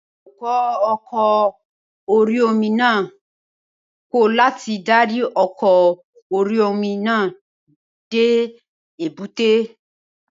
Awakọ̀ oko orí-omi náà kọ̀ láti darí ọkọ̀ orí-omi náà dé èbúté